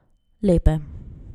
Lepe.